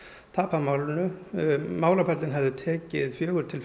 tapað málinu málaferlin hefðu tekið fjögur til